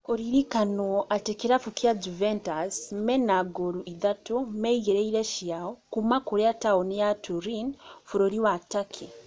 Kũririkanwo atĩ kĩrabu kĩa Juventus mena ngolu ithatũ meigĩire ciao kuma kũrĩa taoni ya Turin bũrũri wa Turkey